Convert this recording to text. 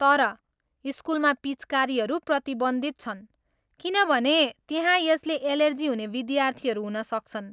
तर, स्कुलमा पिच्कारीहरू प्रतिबन्धित छन् किनभने त्यहाँ यसले एलर्जी हुने विद्यार्थीहरू हुन सक्छन्।